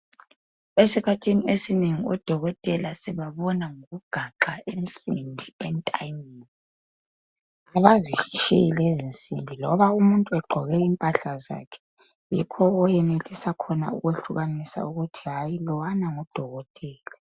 Esikhathini esinengi odokotela sibabona ngokugaxa insimbi entanyeni. Kabazitshiyi lezinsimbi. Loba umuntu egqoke impahla zakhe. Yikho owenelisa ukwehlukanisa khona, ukuthi lowana ngudokotela.